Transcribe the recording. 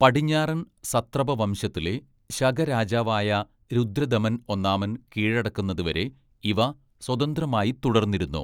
പടിഞ്ഞാറൻ സത്രപ വംശത്തിലെ ശക രാജാവായ രുദ്രദമൻ ഒന്നാമൻ കീഴടക്കുന്നതുവരെ ഇവ സ്വതന്ത്രമായി തുടര്‍ന്നിരുന്നു.